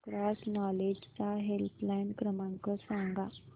cross knowledge चा helpline क्रमांक सांगा